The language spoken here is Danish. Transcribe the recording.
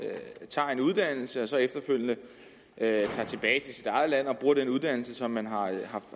tager en uddannelse og så efterfølgende tager tilbage til sit eget land og bruger den uddannelse som man